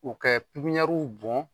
U kɛ bɔn